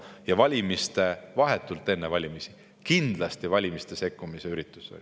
Ja kuna seda tehti vahetult enne valimisi, siis kindlasti oli see valimistesse sekkumise üritus.